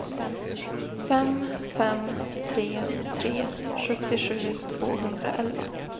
fem fem tre tre sjuttiosju tvåhundraelva